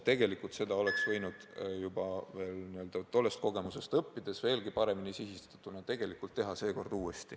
Tegelikult oleks seda võinud tollest kogemusest õppides nüüd veelgi paremini sihitatuna uuesti teha.